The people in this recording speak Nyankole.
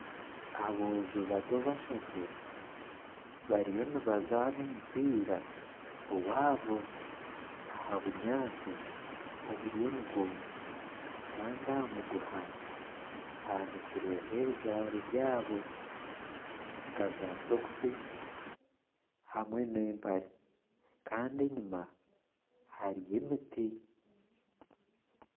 Aboojo bato bashatu bariyo nibazaana omupiira owaabo aha bunyaasi oburiyo nibwoma, kandi aha muguha haanikirweho ebijwaro byabo nka zaasokisi hamwe n'empare. Kandi enyima hariyo emiti.